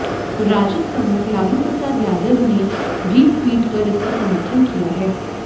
राजद प्रमुख लालू प्रसाद यादव ने भी ट्वीट कर इसका समर्थन किया है